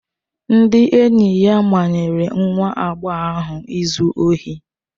Ndị enyi ya manyere nwa agbọghọ ahụ ịzụ ohi.